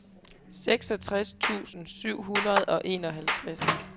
seksogtres tusind syv hundrede og enoghalvtreds